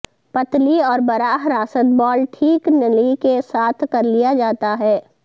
پتلی اور براہ راست بال ٹھیک نلی کے ساتھ کرلیا جاتا ہے